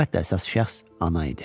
Əlbəttə, əsas şəxs ana idi.